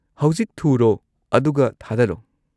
-ꯍꯧꯖꯤꯛ ꯊꯨꯔꯣ ꯑꯗꯨꯒ ꯊꯥꯗꯔꯣ꯫